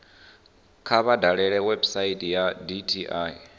kha vha dalele website ya dti